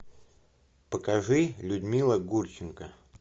покажи людмила гурченко